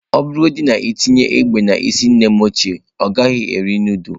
Ọ bụrụgodị na i tinye egbe n’isi nnem ochie, ọ gaghị eri nudulu.